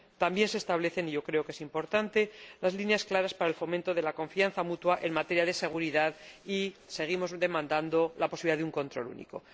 También se establecen, y creo que es importante, líneas claras para el fomento de la confianza mutua en materia de seguridad y seguimos demandando la posibilidad de un control único.